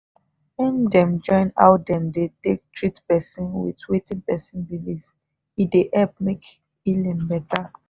when dem join how them dey take treat person with wetin person believe e dey help make healing better.